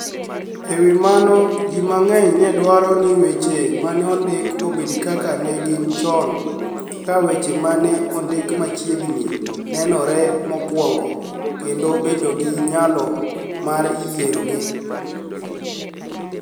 E wi mano, ji manig'eniy ni e dwaro nii weche ma ni e onidikgo obed kaka ni e gini choni, ka weche ma ni e onidik machiegnii ni enore mokwonigo, kenido bedo gi niyalo mar rieyogi.